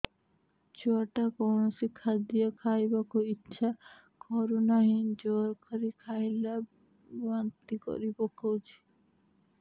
ଛୁଆ ଟା କୌଣସି ଖଦୀୟ ଖାଇବାକୁ ଈଛା କରୁନାହିଁ ଜୋର କରି ଖାଇଲା ବାନ୍ତି କରି ପକଉଛି